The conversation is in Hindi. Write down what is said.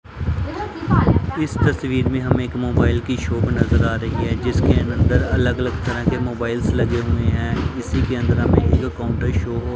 इस तस्वीर में हम एक मोबाइल की शॉप नजर आ रही है जिसके अंदर अलग अलग तरह के मोबाइल्स लगे हुए हैं इसी के अंदर हमें तो काउंटर शुरू हो--